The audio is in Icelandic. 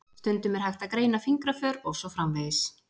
Stundum er hægt að greina fingraför og svo framvegis.